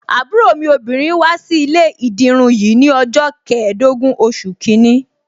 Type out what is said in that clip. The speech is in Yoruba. Àbúrò mi obìnrin wá sí ilé ìdirun yìí ni ọjọ́ keedogun oṣù kìíní.